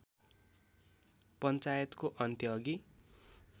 पञ्चायतको अन्त्यअघि